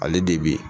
Ale de bi